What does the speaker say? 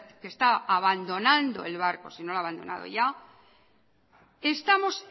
que está abandonando el barco si no lo ha abandonado ya estamos